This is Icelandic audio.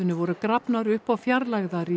voru grafnar upp og fjarlægðar í